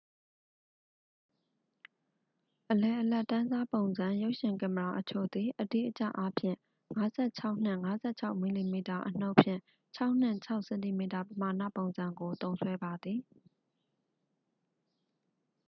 အလယ်အလတ်တန်းစား ပုံစံ ရုပ်ရှင် ကင်မရာအချို့သည် အတိအကျအားဖြင့် 56 နှင့် 56 mm အနုတ်ဖြင့် 6 နှင့် 6 cm ပမာဏပုံစံကို သုံးစွဲပါသည်